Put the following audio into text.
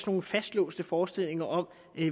nogle fastlåste forestillinger om